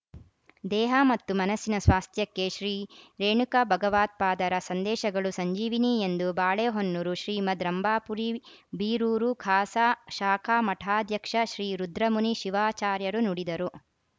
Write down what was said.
ದೇಹ ಮತ್ತು ಮನಸ್ಸಿನ ಸ್ವಾಸ್ಥ್ಯಕ್ಕೆ ಶ್ರೀರೇಣುಕ ಭಗವತ್ಪಾದರ ಸಂದೇಶಗಳು ಸಂಜೀವಿನಿ ಎಂದು ಬಾಳೆಹೊನ್ನೂರು ಶ್ರೀಮದ್‌ ರಂಭಾಪುರಿ ಬೀರೂರು ಖಾಸಾ ಶಾಖಾಮಠಾಧ್ಯಕ್ಷ ಶ್ರೀ ರುದ್ರಮುನಿ ಶಿವಾಚಾರ್ಯರು ನುಡಿದರು